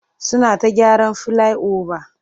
Suna ta gyaran filai-oba.